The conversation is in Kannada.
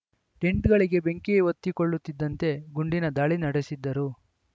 ಟೆಂಟ್‌ಗಳಿಗೆ ಬೆಂಕಿ ಹೊತ್ತಿಕೊಳ್ಳುತ್ತಿದ್ದಂತೆ ಗುಂಡಿನ ದಾಳಿ ನಡೆಸಿದ್ದರು